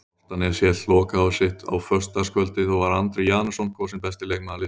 Álftanes hélt lokahóf sitt á föstudagskvöldið og var Andri Janusson kosinn besti leikmaður liðsins.